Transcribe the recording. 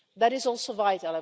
That is also vital.